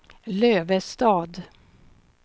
Lövestad